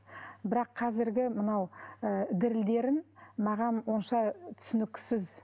бірақ қазіргі мынау ы дірілдерін маған онша түсініксіз